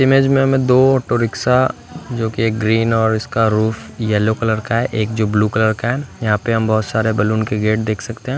Image मे हमे दो ऑटो रिक्शा जो की एक ग्रीन और इसका रूफ येलो कलर का है एक जो ब्लू कलर का है यहां पे हम बहोत सारे बलून के गेट देख सकते हैं।